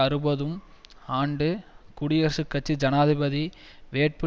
அறுபதும் ஆண்டு குடியரசுக் கட்சி ஜனாதிபதி வேட்பு